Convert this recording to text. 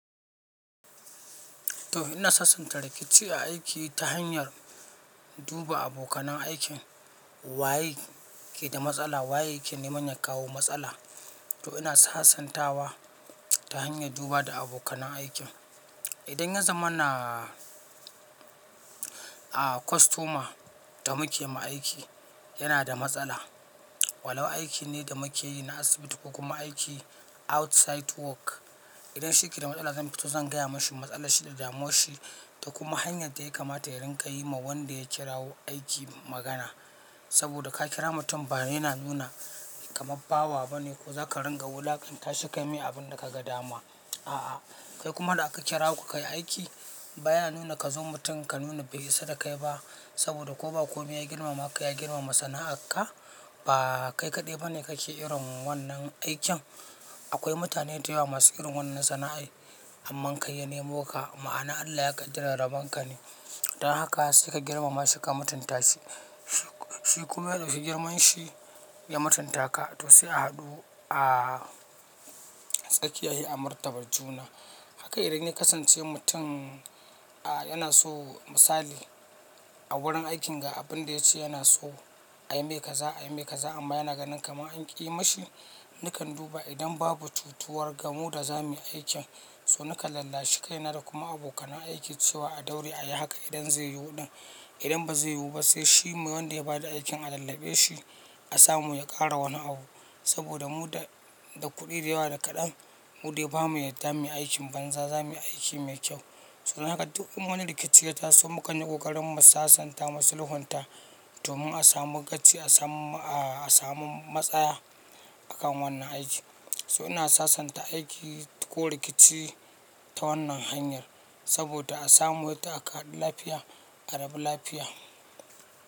To ina sasanta rikici a aiki ta hanyar duba abokanan aikin waye ke da matsala, waye yake neman ya kawo matsala. To ina sasantawa ta hanyar duba da abokanan aikin. Idan ya zamana a kostoma da muke ma aiki yana da matsala. Walau aiki ne da muke yi na asibiti ko kuma aiki outside work. Idan shi yake da matsala zan fito zan gaya mashi matsalar shi da damuwar shi da kuma hanyar ta yakamata yarenka yi ma wanda ya kirawo aiki magana. Saboda ka kira mutum ba yana nuna kaman bawa bane ko zaka ringa wulakanta shi kai yi mai abunda ka ga dama. A'a, kai kuma da aka kira ku ka yi aiki ba ya nuna ka zo mutum ka nuna bai isa da kai ba. Saboda ko ba komai ya girmama ka ya girmama sana'ar ka. Ba kai kaɗai ba ne kake irin wannan aikin. Akwai mutane da yawa masu irin wannan sana'ar. Amma kai ya nemo ka, ma'ana Allah ya kaddara rabon ka ne. Dan haka sai ka girmama shi ka matunta shi. Shi kuma ya dauki girman shi ya matunta ka. To sai a haɗu a tsakiya sai a martaba juna. Haka idan ya kasance mutum a yana so misali a wurin aikin ga abin da ya ce yana so a yi mai kaza, a yi mai kaza amma yana ganin kamar an ƙi yi mashi. Nakan duba idan babu cutuwa gamu da zamu yi aikin, so nakan lallashi kaina da kuma abokan aiki cewa a daure a yi haka idan zai yiwu ɗin. Idan ba zai yiwu ba sai shi wanda ya ba da aikin a tallabe shi a samu ya ƙara wani abu. Saboda mu da, da kuɗi da yawa da kaɗan, mu dai ba mu yadda mu yi aikin banza, zamu yi aiki mai kyau. Saboda haka duk wani rikici ya taso mukan yi ƙoƙarin mu sasanta masu lhunta domin a samu gaci a samu a samun matsaya akan wannan aiki. So ina sasanta aiki ko rikici ta wannan hanyar saboda a samu yadda aka hadulafiya, a rabu lafiya.